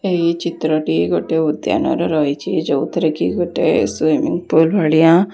ଏହି ଚିତ୍ରଟିଏ ଗୋଟିଏ ଉଦ୍ୟାନ ର ରହିଛି ଯୋଉଥିରେ କି ଗୋଟେ ସ୍ଵୀମିଂ ପୁଲ| ଭଳିଆ --